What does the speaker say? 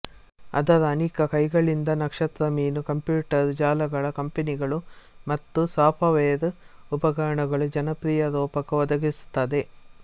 ಅದರ ಅನೀಕ ಕೈಗಳಿಂದನಕ್ಷತ್ರ ಮೀನು ಕಂಪ್ಯೊಟರ್ ಜಾಲಗಳ ಕಂಪನಿಗಳು ಮತ್ತು ಸಾಫವೆರ್ ಉಪಕರಣಗಳು ಜನಪ್ರಿಯ ರೊಪಕ ಒದಗಿಸುತ್ತದೆ